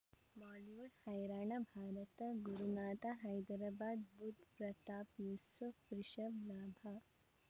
Bollywood ಹೈರಾಣ ಭಾರತ ಗುರುನಾಥ ಹೈದರಾಬಾದ್ ಬುಧ್ ಪ್ರತಾಪ್ ಯೂಸುಫ್ ರಿಷಬ್ ಲಾಭ